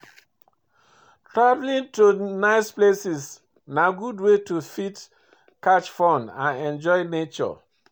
Travelling to nice places na good way to fit catch fun and enjoy nature